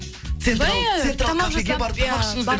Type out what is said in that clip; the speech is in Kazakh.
былай тамақ жасап иә